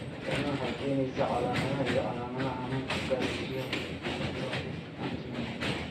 Tani waxay keenaysaa calaamadaha iyo calaamadaha xanuunka gaastaria atrophic autoimmune.